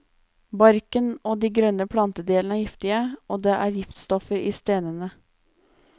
Barken og de grønne plantedelene er giftige, og det er giftstoffer i stenene.